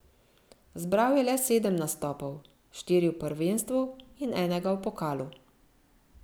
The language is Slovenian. Zbral je le sedem nastopov, štiri v prvenstvu in enega v pokalu.